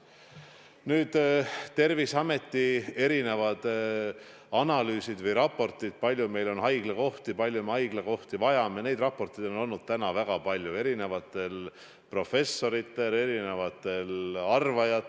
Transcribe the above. Nüüd, Terviseameti erinevad analüüsid ja raportid, kui palju meil on haiglakohti, kui palju me haiglakohti vajame – neid raporteid on koostanud väga paljud erinevad professorid ja muud erinevad arvajad.